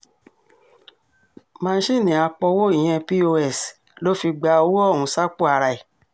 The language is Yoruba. másìnnì àpòwò ìyẹn pọ́s ló fi gba owó ọ̀hún sápò ara ẹ̀